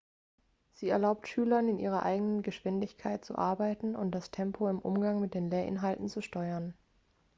sie erlaubt schülern in ihrer eigenen geschwindigkeit zu arbeiten und das tempo im umgang mit den lehrinhalten zu steuern